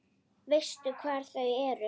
Veistu hvar þau eru?